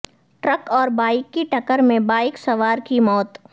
truck اور bike کی ٹکر میں بائیک سوار کی موت